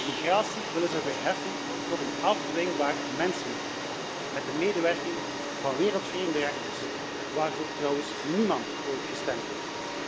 Migratie willen ze verheffen tot een afdwingbaar mensenrecht, met de medewerking van wereldvreemde rechters, voor wie trouwens niemand ooit gestemd heeft.